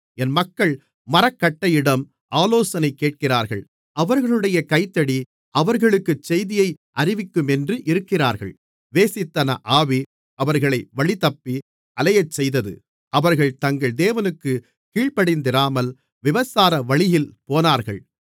என் மக்கள் மரக்கட்டையிடம் ஆலோசனை கேட்கிறார்கள் அவர்களுடைய கைத்தடி அவர்களுக்குச் செய்தியை அறிவிக்குமென்று இருக்கிறார்கள் வேசித்தன ஆவி அவர்களை வழிதப்பி அலையச்செய்தது அவர்கள் தங்கள் தேவனுக்குக் கீழ்ப்படிந்திராமல் விபச்சாரவழியில் போனார்கள்